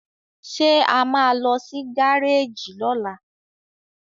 ṣe a má ló sì Gáréèjì lola?